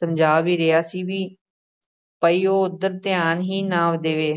ਸਮਝਾ ਵੀ ਰਿਹਾ ਸੀ ਵੀ ਬਈ ਉਹ ਉੱਧਰ ਧਿਆਨ ਹੀ ਨਾ ਦੇਵੇ।